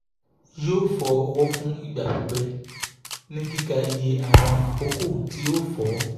yoo fọ ọwọ fun igba pipẹ ni kika iye awọn akoko ti o fọ